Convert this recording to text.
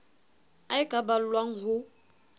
a e ka ballwang ho